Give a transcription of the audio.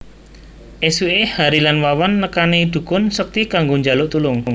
Esuké Hary lan Wawan nekani dhukun sekti kanggo njaluk tulung